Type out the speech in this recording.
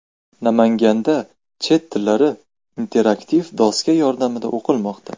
Namanganda chet tillari interaktiv doska yordamida o‘qitilmoqda .